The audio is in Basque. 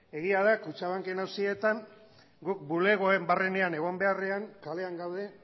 egia da kutxabanaken auzietan gu bulegoen barrenean egon beharrean kalean gaude